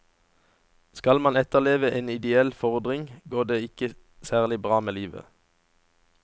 Skal man etterleve en ideell fordring, går det ikke særlig bra med livet.